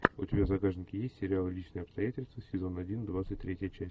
у тебя в загашнике есть сериал личные обстоятельства сезон один двадцать третья часть